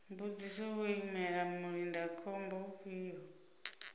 mbudziso vho imela mulindakhombo ufhio